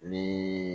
Ni